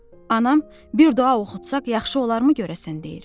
Anam bir dua oxutsaq yaxşı olarmı görəsən deyir?